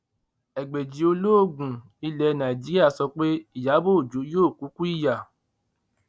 ẹgbẹji olóògùn ilẹ nàìjíríà sọ pé ìyàbọ ọjọ yóò kúkú ìyá